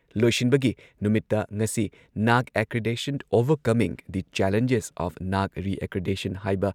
ꯂꯣꯏꯁꯤꯟꯕꯒꯤ ꯅꯨꯃꯤꯠꯇ ꯉꯁꯤ NAAC accreditation overcoming the challenges of NAAC reaccreditation ꯍꯥꯢꯕ